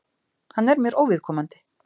Hann er mér óviðkomandi.